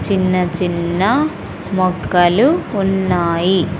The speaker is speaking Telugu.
చిన్న చిన్న మొక్కలు ఉన్నాయి.